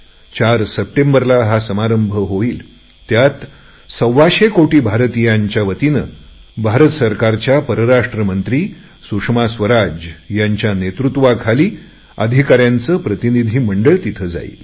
4 सप्टेंबरला हा समारंभ होईल त्यात सव्वाशे कोटी भारतीयांच्या वतीने भारत सरकार परराष्ट्र मंत्री सुषमा स्वराज यांच्या नेतृत्वाखाली अधिकाऱ्यांचे प्रतिनिधी मंडळ तिथे पावेल